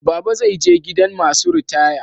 Baba zai je gidan masu ritaya.